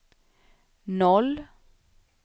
noll